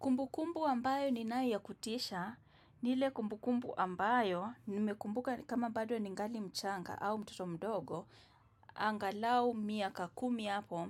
Kumbukumbu ambayo niyo ya kutisha ni ile kumbukumbu ambayo, nimekumbuka kama bado ningali mchanga au mtoto mdogo, angalau miaka kumi hapo,